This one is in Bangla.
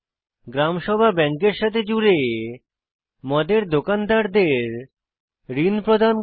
গ্রাম সভা ব্যাংকের সাথে জুড়ে মদের দোকানদারদের ঋণ প্রদান করে